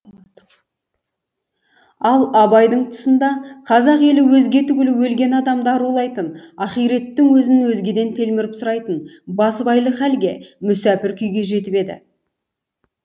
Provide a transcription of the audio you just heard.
ал абайдың тұсында қазақ елі өзге түгілі өлген адам арулайтын ахиреттің өзін өзгеден телміріп сұрайтын басыбайлы халге мүсәпір күйге жетіп еді